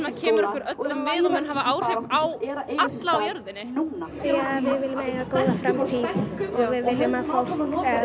kemur okkur öllum við og mun hafa áhrif á alla á jörðinni því við viljum eiga góða framtíð og